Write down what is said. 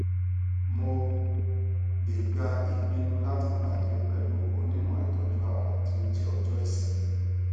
mo le gba ipinnu lati pade pẹlu onimọ itoju ara ti o jẹ ojo isinmi